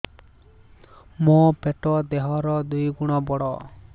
ମୋର ପେଟ ଦେହ ର ଦୁଇ ଗୁଣ ବଡ